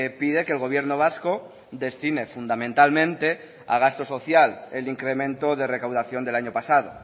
pide que el gobierno vasco destine fundamentalmente a gasto social el incremento de recaudación del año pasado